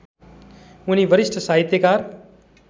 उनी वरिष्ठ साहित्यकार